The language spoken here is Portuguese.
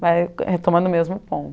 Vai retomando o mesmo